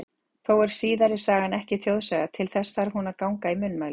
Þó er síðari sagan ekki þjóðsaga, til þess þarf hún að ganga í munnmælum.